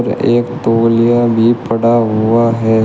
एक तौलिया भी पड़ा हुआ है।